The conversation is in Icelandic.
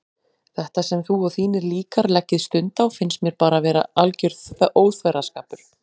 Þetta sem þú og þínir líkar leggið stund á finnst mér bara alger óþverraskapur.